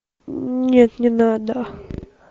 нет не надо